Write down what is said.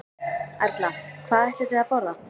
Erla: Hvað ætlið þið að borða?